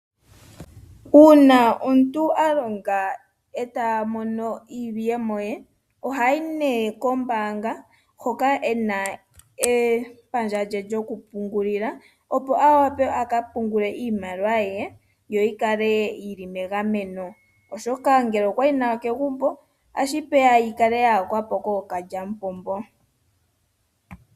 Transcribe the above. Uuna omuntu alonga eta mono iiyemo ye ohayi kombaanga hoka kuna epandja lye lyokupungulila opo aka pungule iimaliwa ye yo yikale yili megameno oshoka ngele okwayi nayo kegumbo otashivulika yi yakwepo kookalyampombo.